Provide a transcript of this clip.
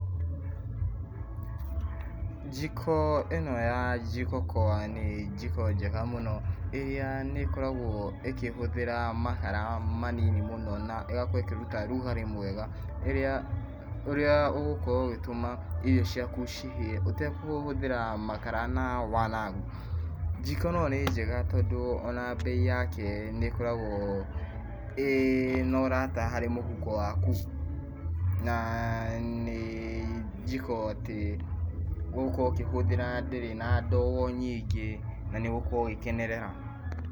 Njiko ĩno ya Jĩko okoa nĩ njiko njega mũno, ĩrĩa nĩ ĩkoragwo ĩkĩhũthĩra makara manini mũno na ĩgakorwo ĩkĩruta rugari mwega, ũrĩa ũgũkorwo ũgĩtũma irio ciaku cihĩe ũtakũhũthĩra makara wanangi. Njiko ĩno nĩ njega tondũ ona mbei yake nĩ ĩkoragwo ĩna ũrata harĩ mũhuko waku, na nĩ njiko atĩ ũgũkorwo ũkĩhũthĩra ndĩrĩ na ndogo nyingĩ na nĩ ũgũkorwo ũgĩkenerera.